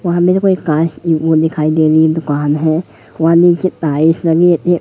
वहा मेरे को एक कार की वो दिखाई दे रही है दुकान है वहा नीचे टाइल्स लगी है ये--